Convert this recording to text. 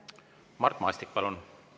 Mart Maastik, palun!